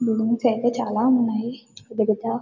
Balloons అయితే చాలా ఉన్నాయి పెద్దపెద్ద.